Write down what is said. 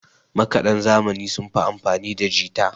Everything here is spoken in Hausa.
makadan zamani sun fi amfanida jita